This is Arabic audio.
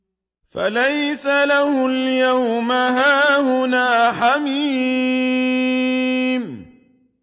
فَلَيْسَ لَهُ الْيَوْمَ هَاهُنَا حَمِيمٌ